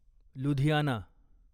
Ludhiana